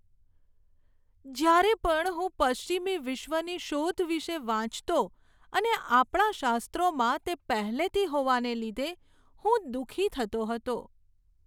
જ્યારે પણ હું પશ્ચિમી વિશ્વની "શોધ" વિશે વાંચતો અને આપણા શાસ્ત્રોમાં તે પહેલેથી હોવાને લીધે હું દુઃખી થતો હતો.